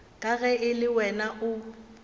ka ge le wena o